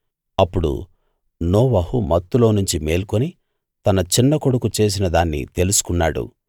అప్పుడు నోవహు మత్తులోనుంచి మేల్కొని తన చిన్నకొడుకు చేసిన దాన్ని తెలుసుకున్నాడు